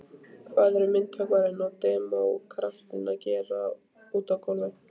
Hvað eru myndhöggvarinn og demókratinn að gera úti á gólfi.